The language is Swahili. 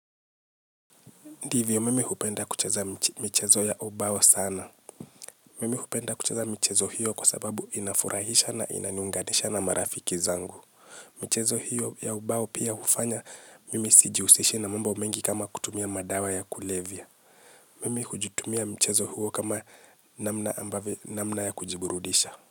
Ndivyo mimi hupenda kucheza michezo ya ubao sana. Mimi hupenda kucheza michezo hiyo kwa sababu inafurahisha na inaniunganisha na marafiki zangu. Michezo hiyo ya ubao pia hufanya, mimi sijihusishi na mambo mengi kama kutumia madawa ya kulevya. Mimi hujutumia mchezo huo kama namna ambavyo, namna ya kujiburudisha.